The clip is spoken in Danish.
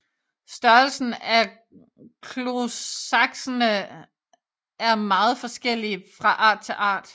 Størrelsen af klosaksene er meget forskellig fra art til art